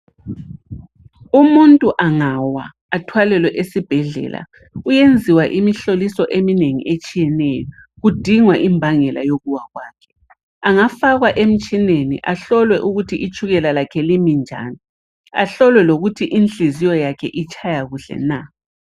Umuntu angawa athwalelwe esibhedlela uyenziwa imihloliso eminengi etshiyeneyo kudingwa imbangela yokuwa kwakhe. Angafakwa emtshineni ahlolwe ukuthi itshukela lakhe limi njani, ahlolwe lokuthi inhliziyo yakhe itshaya kuhle na.